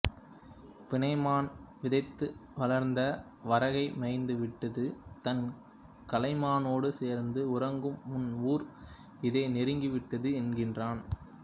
பிணைமான் விதைத்து வளர்ந்த வரகை மேய்ந்துவிட்டுத் தன் கலைமானோடு சேர்ந்து உறங்கும் உன் ஊர் இதோ நெருங்கிவிட்டது என்கிறான்